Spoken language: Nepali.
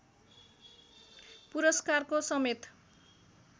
पुरस्कारको समेत